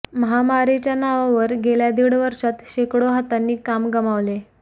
महामारीच्या नावावर गेल्या दीड वर्षात शेकडो हातांनी काम गमावले